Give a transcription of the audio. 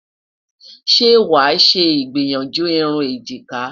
ṣé wà ṣé igbiyanju irún ejika?